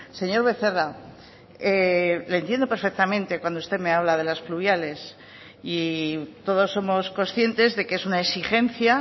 señor becerra le entiendo perfectamente cuando usted me habla de las pluviales y todos somos conscientes de que es una exigencia